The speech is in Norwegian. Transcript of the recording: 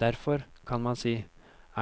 Derfor, kan man si,